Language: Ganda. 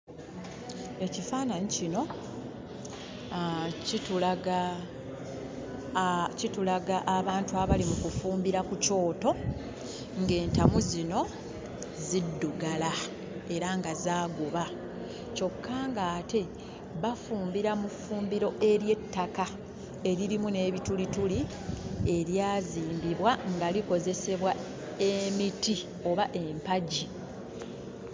Ekifaananyi kino kitulaga abantu abali mu kufumbira ku kyoto, ng'entamu zino ziddugala era nga zaaguba. Kyokka ng'ate bafumbira mu ffumbiro ery'ettaka eririmu n'ebitulituli eryazimbibwa nga likozesebwa emiti oba empagi.